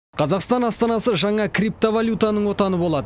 қазақстан астанасы жаңа криптовалютаның отаны болады